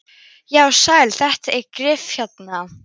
Já, sæll, þetta er Gylfi hérna.